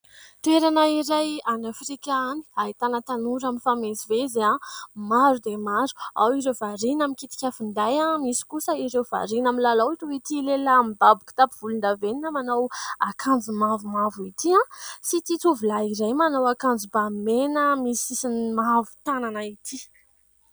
Toerana iray any Afrika any, ahitana tanora mifamezivezy maro dia maro. Ao ireo variana mikitika finday, misy kosa ireo variana milalao toy ity lehilahy mibaby kitapo volondavenona, manao akanjo mavomavo ity sy ity tovolahy iray manao akanjo bà mena misy sisiny mavo tanana ity.